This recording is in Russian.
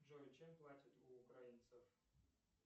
джой чем платят у украинцев